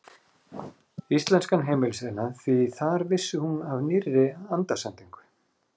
Íslenskan heimilisiðnað, því þar vissi hún af nýrri andasendingu.